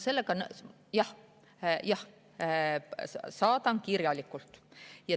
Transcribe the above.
Saadan kirjalikult.